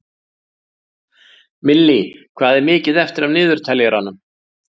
Millý, hvað er mikið eftir af niðurteljaranum?